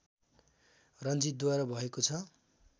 रञ्जितद्वारा भएको छ